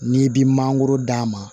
N'i bi mangoro d'a ma